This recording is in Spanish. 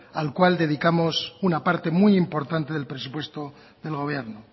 al cual dedicamos una parte muyimportante del presupuesto del gobierno